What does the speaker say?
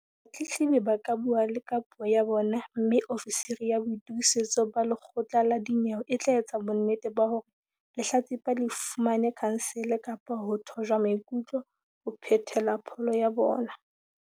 Batletlebi ba ka bua le ka puo ya bona mme ofisiri ya boitokisetso ba lekgotla la dinyewe e tla etsa bonnete ba hore lehlatsipa le fumane khansele kapa ho thojwa maikutlo, ho phethela pholo ya bona.